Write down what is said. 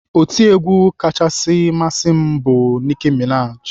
Otiegwu kachasị masị m bụ Nicki Minaj.